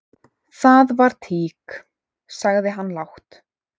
"""Það var tík, sagði hann lágt."""